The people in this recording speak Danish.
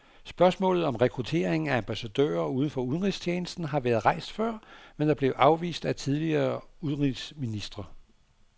Spørgsmålet om rekrutteringen af ambassadører uden for udenrigstjenesten har været rejst før, men er blevet afvist af tidligere udenrigsministre.